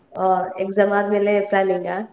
ವಾ, exam ಆದ್ಮೇಲೆ planning ಆ?